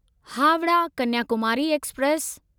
Howrah Kanyakumari express